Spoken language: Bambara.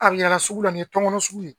A miɲɛna sugu la ni tɔnkɔnɔ sugu ye.